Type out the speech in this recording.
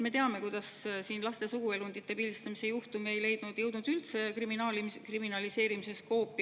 Me teame, kuidas siin laste suguelundite pildistamise juhtum ei jõudnud üldse kriminaliseerimise skoopi.